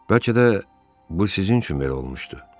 Bəlkə də bu sizin üçün belə olmuşdu.